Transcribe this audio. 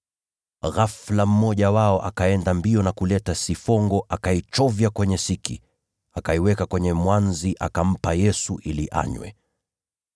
Ghafula mmoja wao akaenda mbio na kuleta sifongo, akaichovya kwenye siki, akaiweka kwenye mwanzi na akampa Yesu ili anywe.